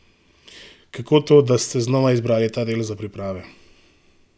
Kako to, da ste znova izbrali ta del za priprave?